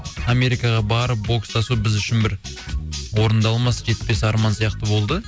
америкаға барып бокстасу біз үшін бір орындалмас жетпес арман сияқты болды